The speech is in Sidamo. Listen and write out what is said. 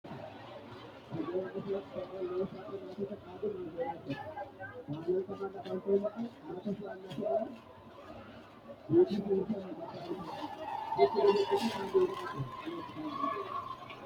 Kuri misilete aana noorqi gido mitu leelanoricqhi mancqhu siito amade doogoteq alba worqo hige harani noota albaani hige qole mitu lekka tuge haranino.